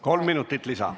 Kolm minutit lisa.